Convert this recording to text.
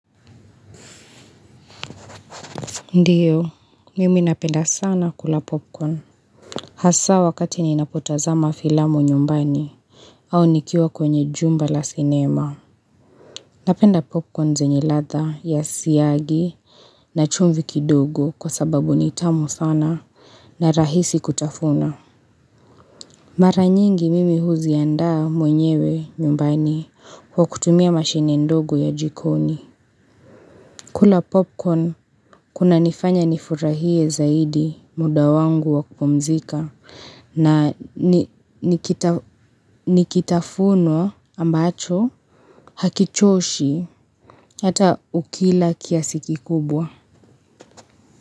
Ndiyo, mimi napenda sana kula popcorn Hasa wakati ninapotazama filamu nyumbani au nikiwa kwenye jumba la sinema Napenda popcorn zenye ladha ya siyagi na chumvi kidogo kwa sababu ni tamu sana na rahisi kutafuna Mara nyingi mimi huziandaa mwenyewe nyumbani kwa kutumia mashine ndogo ya jikoni kula popcorn kunanifanya nifurahie zaidi muda wangu wa kupumzika na ni kitafuno ambacho hakichoshi hata ukila kiasi kikubwa.